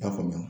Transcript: I y'a faamuya